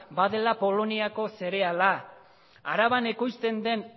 badela poloniako zereala araban ekoizten den